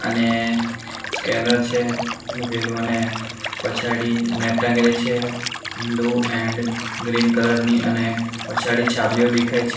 ને સ્કેનર છે મુકેલુ અને પછાડી નેટ ટાંગેલી છે બ્લુ એન્ડ ગ્રીન કલર ની અને પછાડી છાબલીઓ દેખાય છે.